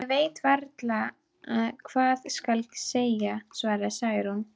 Ég veit varla hvað skal segja, svaraði Særún.